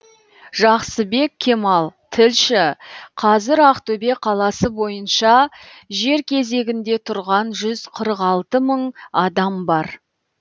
жақсыбек кемал тілші қазір ақтөбе қаласы бойынша жер кезегінде тұрған жүз қырық алты мың адам бар